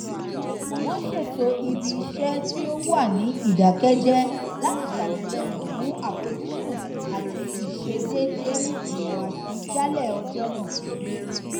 wọn ṣètò ibi iṣẹ tí ó wà ní ìdàkẹjẹ láti ṣàtìlẹyìn fún àfojúsùn àti ìṣedéédé ìhùwàsí jálẹ ọjọ nàà